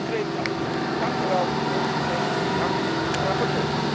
Zo concreet kan het! Dank u wel, veel succes, dank aan de rapporteur!